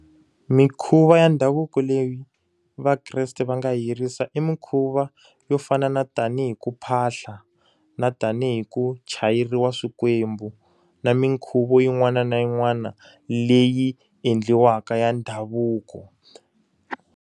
Mikhuva ya ndhavuko leyi vakreste va nga yi yirisa i mikhuva yo fana na tanihi ku phahla, na tanihi ku chayeriwa swikwembu, na minkhuvo yin'wana na yin'wana leyi endliwaka ya ndhavuko.